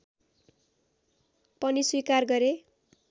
पनि स्वीकार गरे